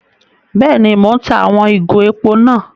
Béèni, Mo n tá àwon ìgò èpò náà